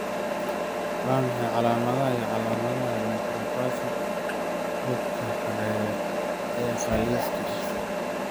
Waa maxay calaamadaha iyo calaamadaha nephropathy xuubka hoose ee khafiifka ah?